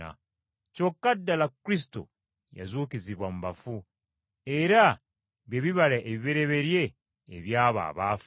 Kyokka ddala Kristo yazuukizibwa mu bafu, era bye bibala ebibereberye eby’abo abaafa.